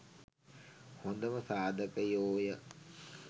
හොඳම සාධකයෝ ය.